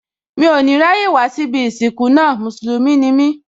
Mí ò ní ráyè wá síbí ìsìnkú náà, Mùsùlùmí ni